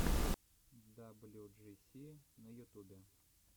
даблюджиси на ютубе